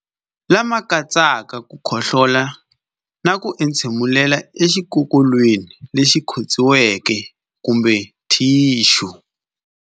Lama katsaka ku khohlola na ku entshemulela exikokolweni lexi khotsiweke kumbe thixu.